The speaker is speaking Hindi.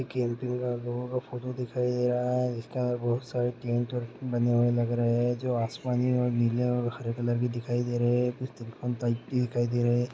एक कैम्पिंग का आप लोगों को फोटो दिखाई दे रहा है जिसके अंदर बहुत सारे टेंट बने हुए लग रहे हैं जो आसमानी और नीले और हरे कलर के दिखाई दे रहे हैं कुछ दिखाई दे रहे हैं।